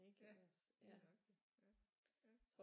Ja det er rigtigt ja ja